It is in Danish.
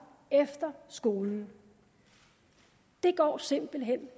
efter skolen det går simpelt hen